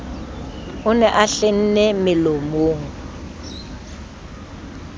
o ne a hlenne melomo